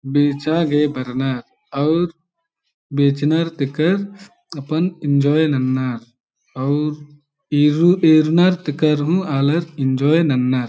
बेचागे बर्नर अउर बेचनर तेकर अपन एंजोय ननर अउर येरुर येरनर तेकर हूँ आलर एंजोय ननर ।